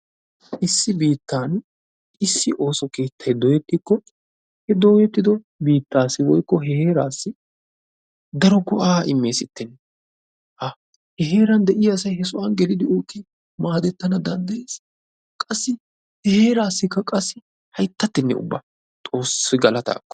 Issi biittan issi ooso keettay dooyetikko he dooyyetido biittaassi woykko heerassi daro go"aa immesitenne! Ha! He heeran de'iyaa asay he sohuwa geliddi ootti maadetana danddayees. Qassi he heerassikka qassi hayttatenne ubba Xoossi galattaa ekko!